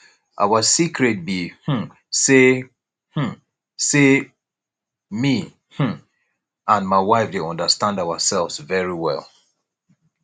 our secret be um say um say me um and my wife dey understand ourselves very well